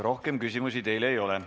Rohkem küsimusi teile ei ole.